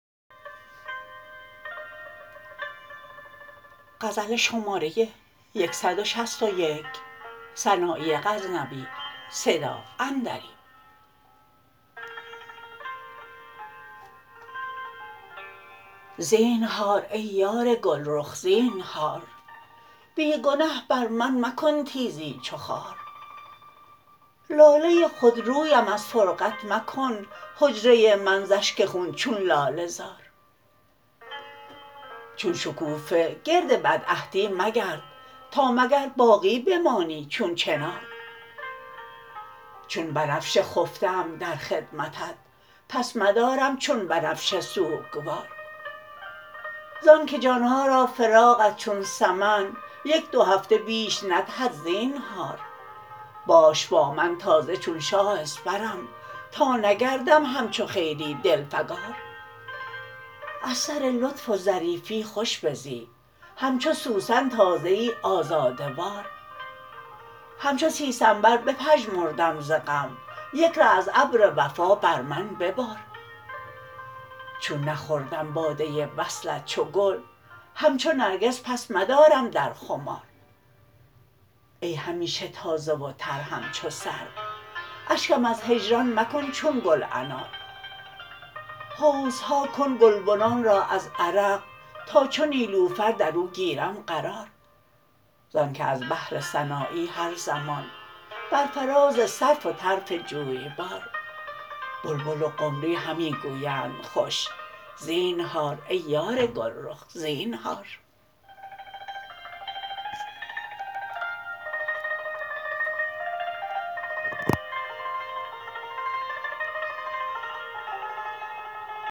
زینهار ای یار گلرخ زینهار بی گنه بر من مکن تیزی چو خار لاله خود رویم از فرقت مکن حجره من ز اشک خون چون لاله زار چون شکوفه گرد بدعهدی مگرد تا مگر باقی بمانی چون چنار چون بنفشه خفته ام در خدمتت پس مدارم چون بنفشه سوگوار زان که جان ها را فراقت چون سمن یک دو هفته بیش ندهد زینهار باش با من تازه چون شاه اسپرم تا نگردم همچو خیری دلفگار از سر لطف و ظریفی خوش بزی همچو سوسن تازه ای آزاده وار همچو سیسنبر بپژمردم ز غم یک ره از ابر وفا بر من ببار چون نخوردم باده وصلت چو گل همچو نرگس پس مدارم در خمار ای همیشه تازه و تر همچو سرو اشکم از هجران مکن چون گل انار حوضها کن گلبنان را از عرق تا چو نیلوفر در او گیرم قرار زان که از بهر سنایی هر زمان بر فراز سرو و طرف جویبار بلبل و قمری همی گویند خوش زینهار ای یار گلرخ زینهار